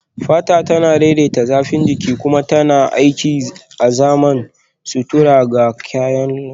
Fata tana daidaita zafin jiki kuma tana aiki azaman sutura ga kyallen jikin mu